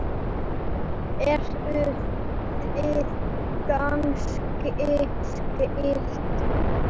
Eruð þið kannski skyld?